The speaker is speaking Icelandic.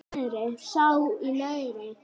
sá í neðra